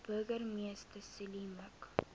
burgemeester zille mik